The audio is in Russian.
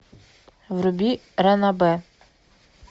вруби ранобэ